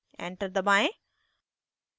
enter दबाएं